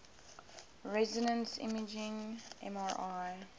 resonance imaging mri